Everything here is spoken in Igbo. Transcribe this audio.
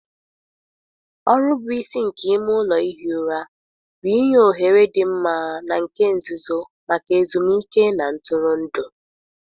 Ọrụ bụ isi nke ime ụlọ ihi ụra bụ inye ohere dị mma na nke nzuzo maka ezumike na ntụrụndụ.